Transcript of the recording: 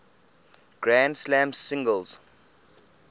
grand slam singles